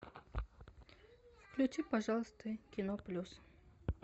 включи пожалуйста кино плюс